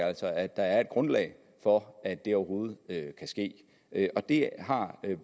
altså at der er et grundlag for at det overhovedet kan ske og det har